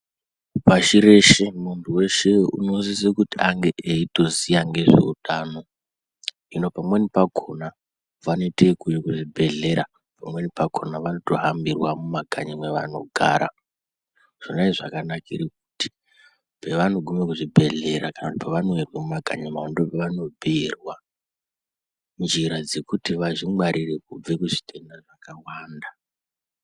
Pashi reshe muntu weshe unosise kuti ange eitoziya ngezveutano. Hino pamweni pakona, vanoite yekuuye kuzvibhedhlera, pamweni pakona vanotohambirwa mumwakanyi mwevanogara. Zvona izvi zvakanakire kuti, pevanoguma kuzvibhedhlera kana kuti pevanouya nemumakanyi mavo ndopavanobhuyirwa njira dzekuti vazvingwarire kubve kuzvitenda zvakawanda.